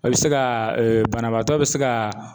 A bi se ka banabaatɔ bi se ka.